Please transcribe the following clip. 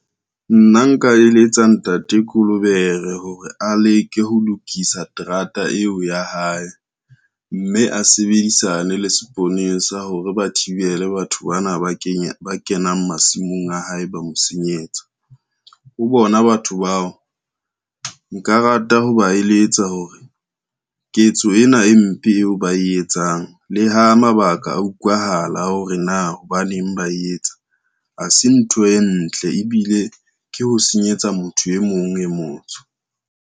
Nna nka eletsa ntate Kolobere hore a leke ho lokisa terata eo ya hae, mme a sebedisane le seponesa sa hore ba thibele batho bana ba kenang masimong a hae ba mo senyetsa. Ho bona batho bao nka rata ho ba eletsa hore, ketso ena e mpe eo ba e etsang le ha mabaka a utlwahala hore na hobaneng ba e etsa, ha se ntho e ntle ebile ke ho senyetsa motho e mong e motsho.